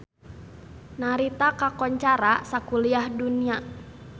Narita kakoncara sakuliah dunya